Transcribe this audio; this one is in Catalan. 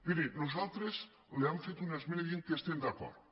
miri nosaltres li hem fet una esmena que diu que hi estem d’acord